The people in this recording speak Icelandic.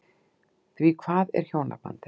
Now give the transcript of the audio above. Því hvað er hjónabandið?